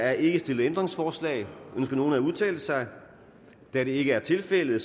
er ikke stillet ændringsforslag ønsker nogen at udtale sig da det ikke er tilfældet